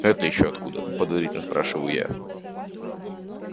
это ещё откуда подозрительно спрашиваю я